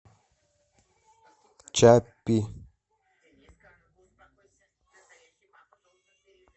чаппи